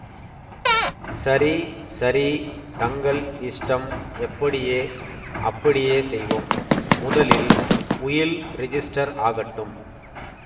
சரி சரி தங்கள் இஷ்டம் எப்படியே அப்படியே செய்வோம் முதலில் உயில் ரிஜிஸ்டர் ஆகட்டும்